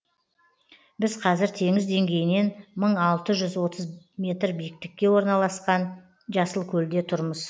біз қазір теңіз деңгейінен мың алты жүз отыз метр биіктікте орналасқан жасылкөлде тұрмыз